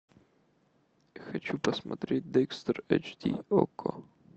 хочу посмотреть декстер эйч ди окко